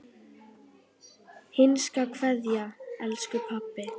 HINSTA KVEÐJA Elsku pabbi.